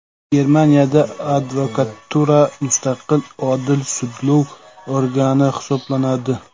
Germaniyada advokatura mustaqil odil sudlov organi hisoblanadi .